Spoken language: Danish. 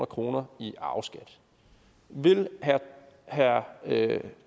kroner i arveskat vil herre